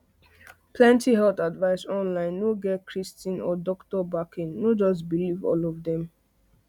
plenty health advice online no get kristine or doctor backing no just believe all of dem